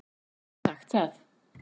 Já ég get sagt það.